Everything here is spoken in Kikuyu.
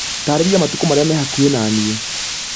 taarĩria matuka marĩa me hakũhi na nĩe